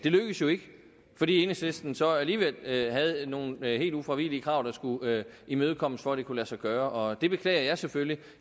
lykkedes jo ikke fordi enhedslisten så alligevel havde nogle helt ufravigelige krav der skulle imødekommes for at det kunne lade sig gøre og det beklager jeg selvfølgelig